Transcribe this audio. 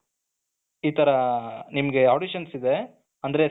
ಇತರ ನಿಮಗೆ auditions ಇದೆ ಅಂದ್ರೆ select